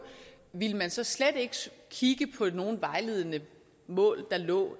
ville man så slet ikke kigge på nogen vejledende mål der lå